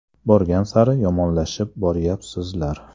Borgan sari yomonlashib boryapsizlar.